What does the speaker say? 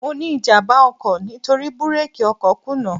Mo ní ìjàmbá ọkọ̀ nítorí búrákì ọkọ̀ kùnà.